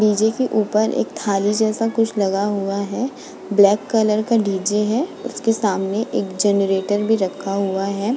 DJ. के ऊपर एक थाली जैसा कुछ लगा हुआ है ब्लैक कलर का डी.जे. है उसके सामने एक जनरेटर भी रखा हुआ है।